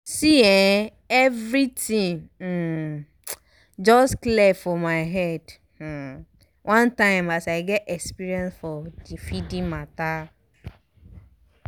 see eh everything um just clear for my head um one time as i get experience for the feeding matter